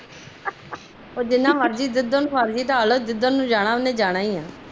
ਜਿੰਦਾ ਮਰਜੀ ਆ ਜਿੱਧਰ ਮਰਜੀ ਢਾਲ ਲੋ ਉਹਨੇ ਜਿੱਧਰ ਜਾਣਾ ਜਾਨਾ ਹੀ ਆ